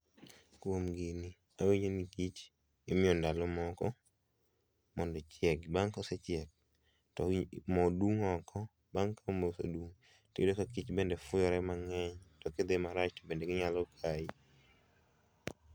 Kuom gini awinjo ni kich imiyo ndalo moko mondo ochiegi. Bang' kosechiek to moo dung' oko bang' ka moo osedum tiyudo ka kich bende fuyore mang'eny kidhi marach bende ginyalo kayi.